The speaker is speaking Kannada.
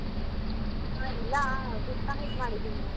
ಆ ಇಲ್ಲ discomplete ಮಾಡಿದೀನಿ ನಾನು.